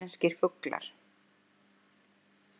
Íslenskir fuglar.